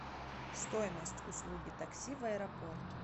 стоимость услуги такси в аэропорт